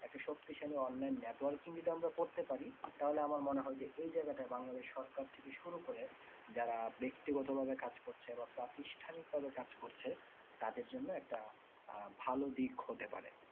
এতো শক্তিশালী online networking যদি আমরা করে পারি আর তাহলে আমার মনে হয় যে এই জায়গাটায় বাংলাদেশ সরকার যদি শুরু করে যারা ব্যক্তিগত ভাবে কাজ করছে বা প্রাথিষ্ঠানিক ভাবে কাজ করছে তাদের জন্য একটা আহ ভালো দিক হতে পারে।